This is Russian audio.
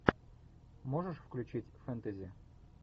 можешь включить фэнтези